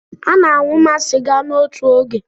A na-aṅụma sịga n'otu oge.